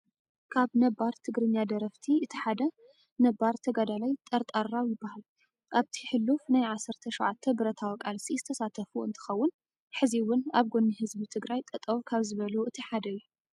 ካብ ነባር ትግርኛ ደረፍቲ እቲ ሓደ ነባር ተጋዳላይ ጠርጣራው ይበሃል። ኣብቲ ሕሉፍ ናይ 17 ብረታዊ ቃልሲ ዝተሳተፉ እንትኸውን ሕዚ እውን ኣብ ጎኒ ህዝቢ ትግራይ ጠጠው ካብ ዝበሉ እቲ ሓደ እዩ።